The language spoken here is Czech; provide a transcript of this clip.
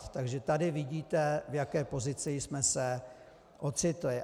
Takže tady vidíte, v jaké pozici jsme se ocitli.